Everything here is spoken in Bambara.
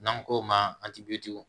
N'an k'o ma